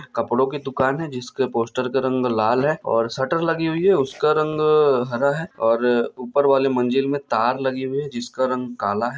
कपड़ों की दुकान है जिसके पोस्टर का रंग लाल है और शटर लगी हुई है उसका रंग हरा है और ऊपर वाली मंजिल मे तार लगी हुई है जिसका रंग काला है।